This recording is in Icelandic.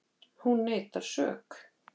Hún neitar sök